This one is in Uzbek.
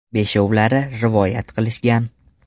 Beshovlari rivoyat qilishgan.